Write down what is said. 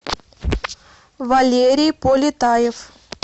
валерий полетаев